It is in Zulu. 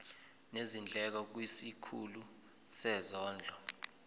nezindleko kwisikhulu sezondlo